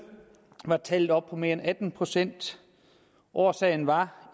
var tallet oppe på mere end atten procent årsagen var